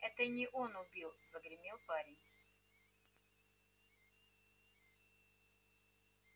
это не он убил загремел парень